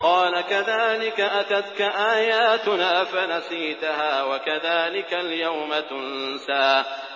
قَالَ كَذَٰلِكَ أَتَتْكَ آيَاتُنَا فَنَسِيتَهَا ۖ وَكَذَٰلِكَ الْيَوْمَ تُنسَىٰ